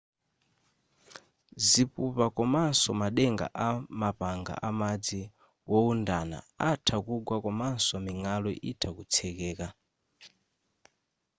zipupa komanso madenga a mapanga amadzi wowundana atha kugwa komanso ming'alu itha kutsekeka